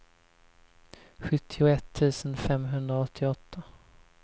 sjuttioett tusen femhundraåttioåtta